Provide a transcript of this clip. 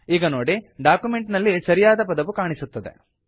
ಈಗ ನೋಡಿ ಡಾಕ್ಯುಮೆಂಟ್ ನಲ್ಲಿ ಸರಿಯಾದ ಪದವು ಕಾಣಿಸುತ್ತದೆ